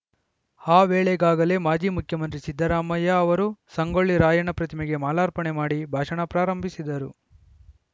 ಆ ವೇಳೆಗಾಗಲೇ ಮಾಜಿ ಮುಖ್ಯಮಂತ್ರಿ ಸಿದ್ದರಾಮಯ್ಯ ಅವರು ಸಂಗೊಳ್ಳಿ ರಾಯಣ್ಣ ಪ್ರತಿಮೆಗೆ ಮಾಲಾರ್ಪಣೆ ಮಾಡಿ ಭಾಷಣ ಪ್ರಾರಂಭಿಸಿದ್ದರು